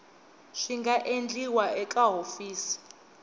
swi nga endliwa eka hofisi